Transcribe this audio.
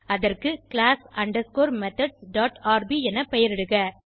அதற்கு class underscore methods dot R B என பெயரிடுக